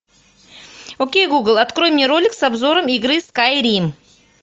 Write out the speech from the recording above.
окей гугл открой мне ролик с обзором игры скайрим